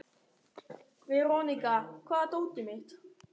Veronika, hvar er dótið mitt?